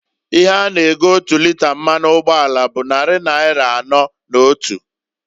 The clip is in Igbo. Ihe a na- ego otu lịta mmanụ ugboala bụ nnarị naịra anọọ na otu.